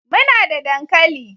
Muna da dankali